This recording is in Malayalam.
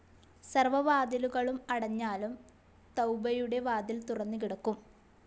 സർവ വാതിലുകളും അടഞ്ഞാലും തൌബയുടെ വാതിൽ തുറന്നുകിടക്കും.